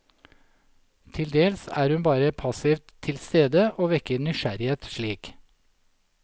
Til dels er hun bare passivt tilstede og vekker nysgjerrighet slik.